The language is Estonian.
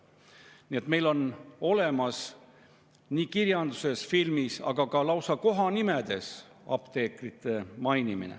Nii et meil on kirjanduses ja filmis, aga ka lausa kohanimedes apteekreid mainitud.